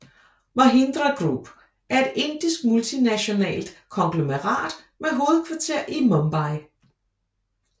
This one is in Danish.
Mahindra Group er et indisk multinationalt konglomerat med hovedkvarter i Mumbai